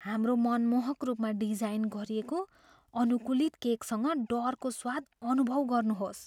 हाम्रो मनमोहक रूपमा डिजाइन गरिएको अनुकूलित केकसँग डरको स्वाद अनुभव गर्नुहोस्।